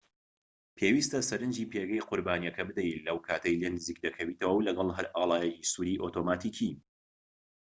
پێویستە سەرنجی پێگەی قوربانیەکە بدەیت لەو کاتەی لێی نزیک دەکەویتەوە و لەگەڵ هەر ئاڵایەکی سووری ئۆتۆماتیکی